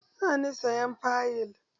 Za ni sayan fayil.